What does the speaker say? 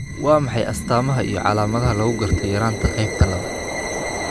Waa maxay astamaha iyo calaamadaha lagu garto yaraanta qaybta labaad?